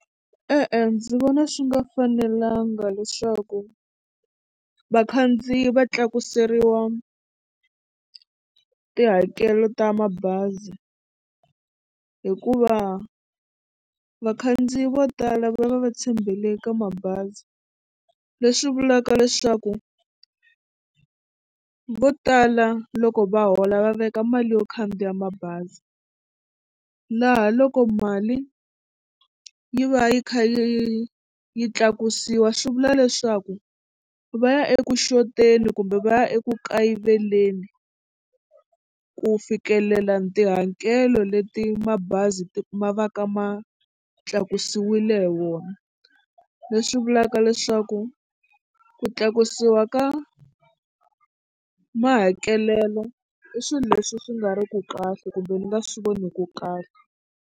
E-e ndzi vona swi nga fanelanga leswaku vakhandziyi va tlakuseriwa tihakelo ta mabazi hikuva vakhandziyi vo tala va va va tshembele ka mabazi leswi vulaka leswaku vo tala loko va hola va veka mali yo khandziya mabazi laha loko mali yi va yi kha yi yi yi tlakusiwa swi vula leswaku va ya eku xoteni kumbe va ya eku kayiveleni ku fikelela tihakelo leti mabazi ti ma va ka ma tlakusiwile hi wona leswi vulaka leswaku ku tlakusiwa ka mahakelelo i swilo leswi swi nga riku kahle kumbe ni nga swi voniku kahle.